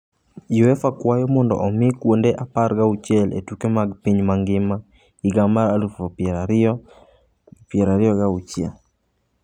Uefa kwayo mondo omi kuonde apar gauchiel e tuke mag piny mangima higa mar aluf pieroariyo piero ariyo gauchiel.